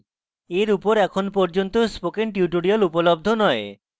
এর উপর এখন পর্যন্ত spoken tutorials উপলব্ধ নয়